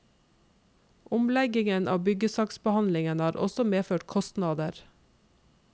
Omleggingen av byggesaksbehandlingen har også medført kostnader.